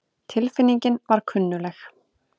Tilfinningin var kunnugleg.